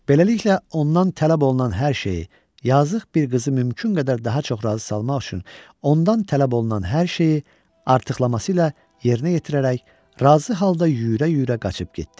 Beləliklə, ondan tələb olunan hər şeyi, yazıq bir qızı mümkün qədər daha çox razı salmaq üçün ondan tələb olunan hər şeyi artırması ilə yerinə yetirərək razı halda yüyürə-yüyürə qaçıb getdi.